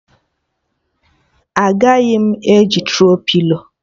Agaghị m eji Tro-pilo